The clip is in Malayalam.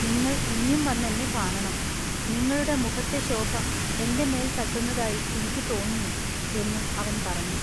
നിങ്ങൾ ഇനിയും വന്നെന്നെ കാണണം നിങ്ങളുടെ മുഖത്തെ ശൊഭ എന്റെ മെൽ തട്ടുന്നതായി ഇനിക്കു തൊന്നുന്നു" എന്നും അവൻ പറഞ്ഞു.